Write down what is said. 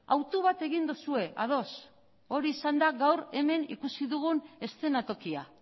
autu bat egin duzue ados hori izan da gaur hemen ikusi dugun eszenatokia